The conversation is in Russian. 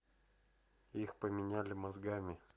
их поменяли мозгами